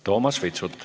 Toomas Vitsut.